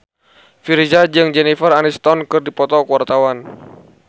Virzha jeung Jennifer Aniston keur dipoto ku wartawan